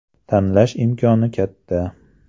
Tanlash imkoni katta.